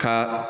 Ka